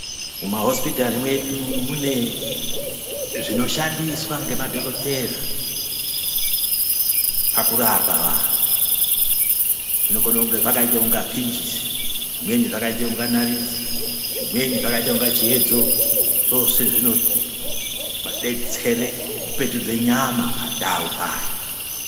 Mumahospitari mwedu ,mune zvinoshandiswa ngemadogodhera pakurapa vanhu. Zvinokone zvakaita kunga pinjisi ,zvimweni zvakaita kunga nariti, zvimweni zvakaita kunge chiyedzo. Zvose zvinodetsere kupetudze nyama pandau payo.